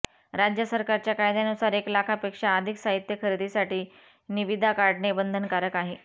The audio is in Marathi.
राज्य सरकारच्या कायद्यानुसार एक लाखापेक्षा अधिक साहित्य खरेदीसाठी निविदा काढणे बंधनकारक आहे